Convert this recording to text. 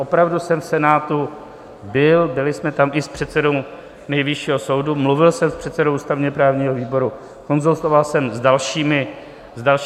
Opravdu jsem v Senátu byl, byli jsme tam i s předsedou Nejvyššího soudu, mluvil jsem s předsedou ústavně-právního výboru, konzultoval jsem s dalšími senátory.